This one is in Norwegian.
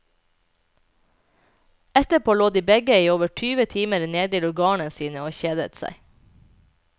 Etterpå lå de begge i over tyve timer nede i lugarene sine og kjedet seg.